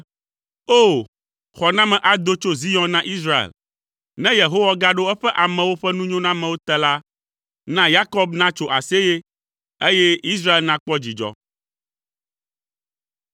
O! Xɔname ado tso Zion na Israel. Ne Yehowa gaɖo eƒe amewo ƒe nunyonamewo te la, na Yakob natso aseye, eye Israel nakpɔ dzidzɔ!